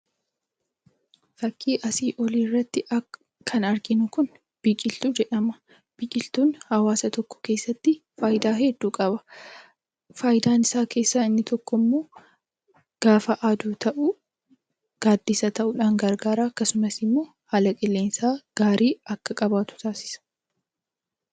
Fakkii asi olii irratti kan arginuu kun Biqiltuu jedhama. Biqiltuun hawasaa tokko keessatti faayiidaa hedduu qaba. Faayidaa isaa keessa inni tokko immoo gafaa Adduu ta'u gadisa ta'uudhan gargara. Akkasumaas immoo haala qilleensaa gaarii akka qabatu taasisaa.